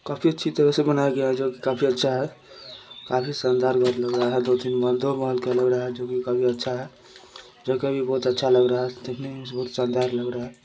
काफी अच्छी तरह से बनाया गया है जो कि काफी अच्छा है काफी शानदार महल लग रहा है | दो तीन माले दो महल का लग रहा है जोकि काफी अच्छा है जगह भी बहोत अच्छा लग रहा है | देखने में भी बहोत शानदार लग रहा है ।